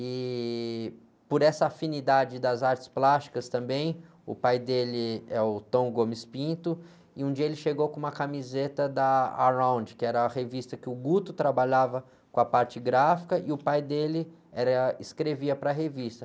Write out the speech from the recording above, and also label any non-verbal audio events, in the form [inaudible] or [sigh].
E por essa afinidade das artes plásticas também, o pai dele é o, [unintelligible] e um dia ele chegou com uma camiseta da Around, que era a revista que o [unintelligible] trabalhava com a parte gráfica, e o pai dele era, escrevia para a revista.